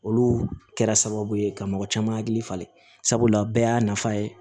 Olu kɛra sababu ye ka mɔgɔ caman hakili falen sabula bɛɛ y'a nafa ye